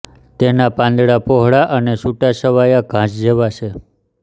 તેના પાંદડા પહોળા છે અને તે છુટાછવાયા ઘાસ જેવા છે